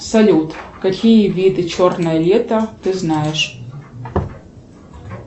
салют какие виды черное лето ты знаешь